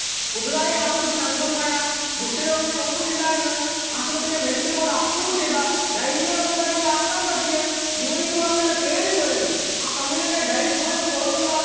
പുതുതായി ആശ്രമത്തിൽ അംഗമായ ഗുഹ്യ രോഗങ്ങൾ ഒന്നും ഇല്ലാ എന്ന് ആശുപത്രിയിലെ medical board approve ചെയ്ത ലൈംഗീഗപങ്കാളികൾ ആക്കാൻ പറ്റിയ യുവതിയുവാക്കളുടെ പേര് വിവരങ്ങൾ ആ commune ന്റെ dining hall ന് പുറത്തുള്ള